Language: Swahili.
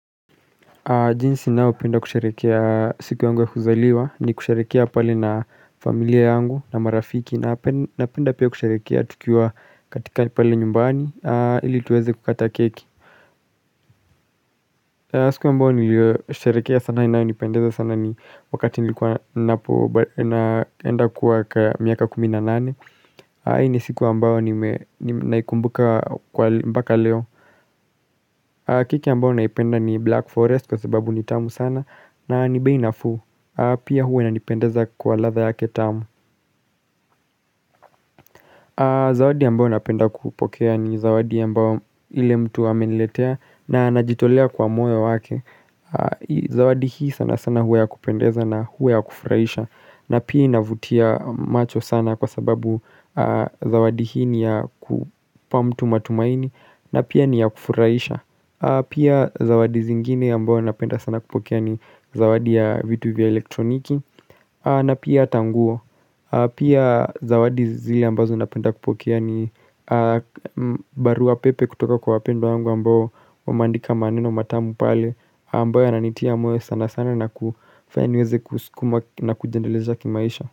Jinsi nao penda kusherekea siku yangu ya kuzaliwa ni kusherekea pale na familia yangu na marafiki na penda pia kusherekea tukiwa katika pale nyumbani ili tuweze kukata keki siku ambao niliosherekea sana inayo nipendeza sana ni wakati nilikuwa naenda kuwa miaka kumina nane hii ni siku ambao naikumbuka kwa mpaka leo keki ambao naipenda ni black forest kwa sababu ni tamu sana na ni beinafuu Pia huwa inanipendeza kwa latha yake tamu Zawadi ambao naipenda kupokea ni zawadi ambao ile mtu ameniletea na anajitolea kwa moy wake Zawadi hii sana sana huwa ya kupendeza na huwa ya kufurahisha na pia inavutia macho sana kwa sababu zawadi hii ni ya kupa mtu matumaini na pia ni ya kufurahisha Pia zawadi zingine ambayo napenda sana kupokea ni zawadi ya vitu vya elektroniki na pia atanguo Pia zawadi zile ambazo napenda kupokea ni barua pepe kutoka kwa wapendwa wangu ambao Wameandika maneno matamu pale ambayo yananitia moyo sana sana na kufanyaniweze kuskuma na kujiendeleza kimaisha.